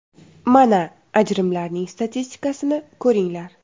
Mana, ajrimlarning statistikasini ko‘ringlar.